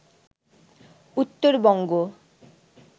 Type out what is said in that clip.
Uttarbanga